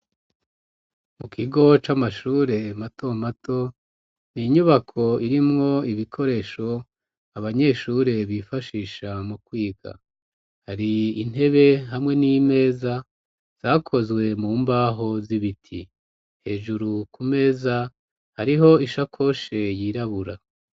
Mu kigo c'amashure mato mato, n'inyubako irimwo ibikoresho abanyeshure bifashisha mu kwiga, har'intebe ,hamwe n'imeza zakozwe mu mbaho z'ibiti. Hejuru ku meza hariho ishakoshe yirabura.